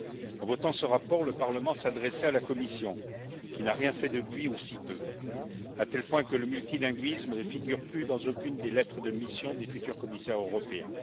En votant ce rapport, le Parlement s'adressait à la Commission, qui n'a rien fait depuis, ou si peu, à tel point que le multilinguisme ne figure plus dans aucune des lettres de mission des futurs commissaires européens.